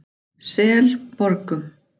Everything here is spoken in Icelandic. Selborgum